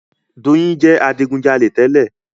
Doyin jẹ adigujalè tẹ́lẹ̀.